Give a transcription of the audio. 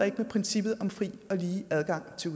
ikke med princippet om fri og lige adgang til